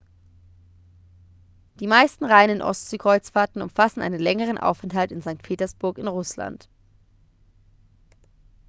die meisten reinen ostseekreuzfahrten umfassen einen längeren aufenthalt in st. petersburg in russland